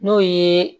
N'o ye